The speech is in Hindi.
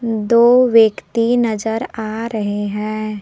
दो व्यक्ति नजर आ रहे हैं।